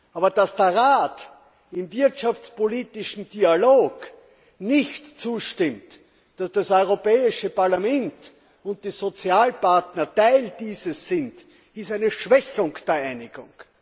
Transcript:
Aber dass der Rat im wirtschaftspolitischen Dialog nicht zustimmt, dass das Europäische Parlament und die Sozialpartner Teil dessen sind, ist eine Schwächung der Einigung.